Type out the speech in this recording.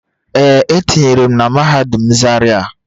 Ee, etinyere m na mahadum zaria